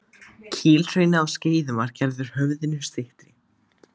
Kílhrauni á Skeiðum var gerður höfðinu styttri.